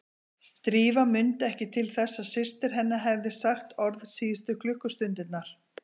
Drífa mundi ekki til þess að systir hennar hefði sagt orð síðustu klukkustundirnar.